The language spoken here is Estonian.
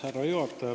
Härra juhataja!